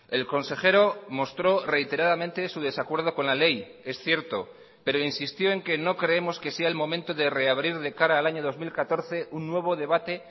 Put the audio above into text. el consejero mostró reiteradamente su desacuerdo con la ley es cierto pero insistió en que no creemos que sea el momento de reabrir de cara al año dos mil catorce un nuevo debate